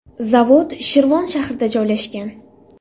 Zavod Shirvon shahrida joylashgan.